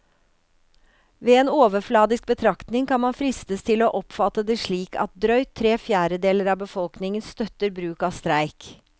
Ved en overfladisk betraktning kan man fristes til å oppfatte det slik at drøyt tre fjerdedeler av befolkningen støtter bruk av streik.